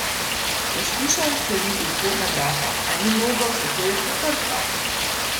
Poskušal je odkleniti vhodna vrata, a ni mogel, zato je potrkal.